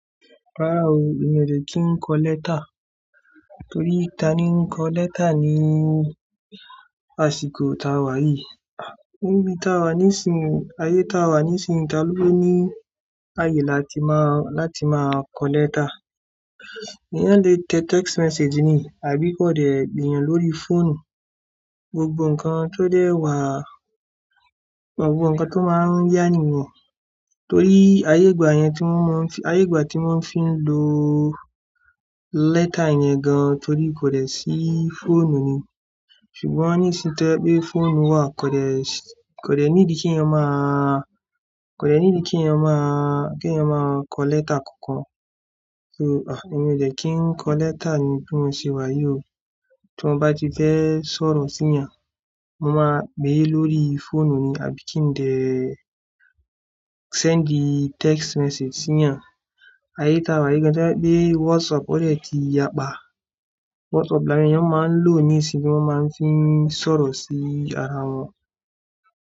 Rárá o, emi ò dẹ̀ kí ń kọ lẹ́tà. Torí ta ni ń kọ lẹ́tà ní àsìkò ta wà yìí? Níbi ta wà nísìí, ayé ta wà nísìí, ta ló ní àyè láti máa, láti máa kọ lẹ́tà? Èèyàn lè tẹ̀ text message ni àbí kọ̀dẹ̀ pe eeyàn lórí fóònù. Gbogbo ǹkan tó dẹ̀ wà, gbogbo ǹkan tó máa ń yá ni yen. Torí ayé ìgbà yẹn tí wọ́n máa ń fín, ayé ìgbà tí wọ́n fi ń lo lẹ́tà yẹn gan torí kò dẹ̀ sí fóònù ni. Ṣùgbọ́n nísìnyí tó je pe fóònù wà kò dẹ̀ sí, kò dẹ̀ nídi kí ènìyàn má a, kò dẹ̀ nídi kí ènìyàn máa, kí ènìyàn máa kọ lẹ́tà kankan. So, à, èmi ò dẹ̀ kí ń kọ lẹ́tà ni bí mo ṣe wà yìí o. Tí mo bá ti fẹ́ sọ̀rọ̀ sí ìyàn, mo máa pe lórí fóònù ni àbí kí ń tẹ̀ send text message sí ìyàn. Ayé ta wà yìí gan tó jẹ pe WhatsApp ò dẹ̀ ti yà pa. WhatsApp làwon èèyàn máa ń lò nísìí bí wọ́n máa ń fi ń sọ̀rọ̀ sí ara wọn.